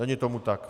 Není tomu tak.